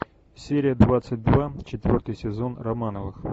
серия двадцать два четвертый сезон романовых